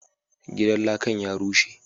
Gidan lakan ya rushe,